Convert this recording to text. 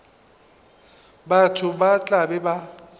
batho ba tla be ba